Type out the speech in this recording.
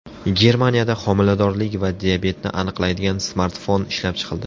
Germaniyada homiladorlik va diabetni aniqlaydigan smartfon ishlab chiqildi.